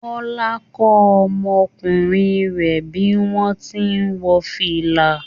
Kọla ń kọ́ ọmọkùnrin rẹ̀ bí wọ́n ti ń wọ fìlà